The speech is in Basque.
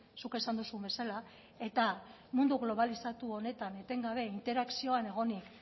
zuk esan duzun bezala eta mundu globalizatu honetan etengabe interakzioan egonik